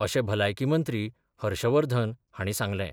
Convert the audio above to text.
अशें भलायकी मंत्री हर्षवर्धन हांणी सांगलें.